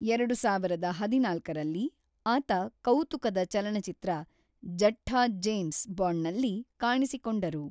ಎರಡು ಸಾವಿರದ ಹದಿನಾಲ್ಕರಲ್ಲಿ, ಆತ ಕೌತುಕದ ಚಲನಚಿತ್ರ ಜಠ್ಟ ಜೇಮ್ಸ್ ಬಾಂಡ್‌ನಲ್ಲಿ ಕಾಣಿಸಿಕೊಂಡರು.